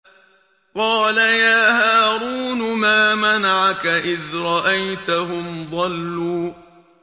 قَالَ يَا هَارُونُ مَا مَنَعَكَ إِذْ رَأَيْتَهُمْ ضَلُّوا